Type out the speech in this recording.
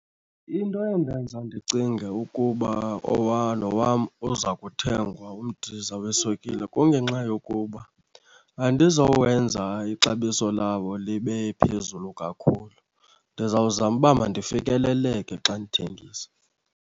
Into endenza ndicinge ukuba lo wam uza kuthengwa umdiza weswekile, kungenxa yokuba andizowenza ixabiso lawo libe phezulu kakhulu. Ndizawuzama uba mandifikeleleke xa ndithengisa